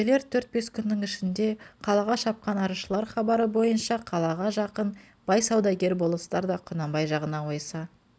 келер төрт-бес күннің ішінде қалаға шапқан арызшылар хабары бойынша қалаға жақын бай саудагер болыстар да құнанбай жағына ойыса